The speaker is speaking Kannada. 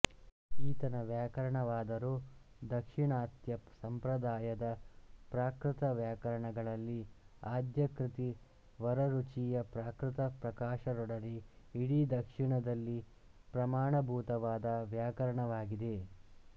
ಈತನ ವ್ಯಾಕರಣವಾದರೋ ದಾಕ್ಷಿಣಾತ್ಯ ಸಂಪ್ರದಾಯದ ಪ್ರಾಕೃತ ವ್ಯಾಕರಣಗಳಲ್ಲಿ ಆದ್ಯಕೃತಿ ವರರುಚಿಯ ಪ್ರಾಕೃತ ಪ್ರಕಾಶದೊಡನೆ ಇಡೀ ದಕ್ಷಿಣದಲ್ಲಿ ಪ್ರಮಾಣಭೂತವಾದ ವ್ಯಾಕರಣವಾಗಿದೆ